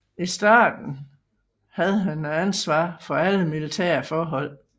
I starten havde han ansvar for alle militære forhold